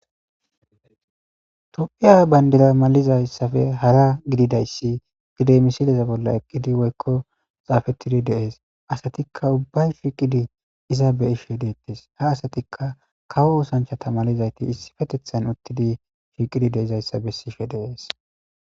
tophiya bandira malizayssafe hara gididayssi gide misileza bolla eqqidi woykko xaafettidi deees asatikka ubbay shiqidi iza be ishe deettes ha asatikka kawo osanchata malizayti issi fetethan uttidi shiiqidi de izayssa bessife deees